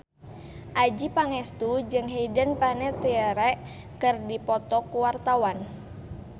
Adjie Pangestu jeung Hayden Panettiere keur dipoto ku wartawan